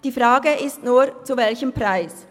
Die Frage ist nur: zu welchem Preis?